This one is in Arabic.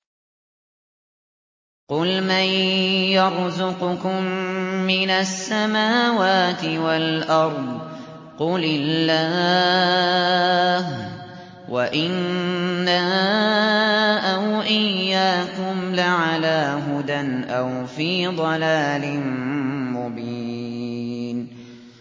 ۞ قُلْ مَن يَرْزُقُكُم مِّنَ السَّمَاوَاتِ وَالْأَرْضِ ۖ قُلِ اللَّهُ ۖ وَإِنَّا أَوْ إِيَّاكُمْ لَعَلَىٰ هُدًى أَوْ فِي ضَلَالٍ مُّبِينٍ